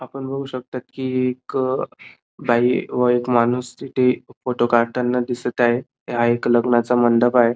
आपण बघू शकतो की एक बाई व एक माणूस तिथे फोटो काडताना दिसत आहे हा एक लग्नाचा मंडप आहे.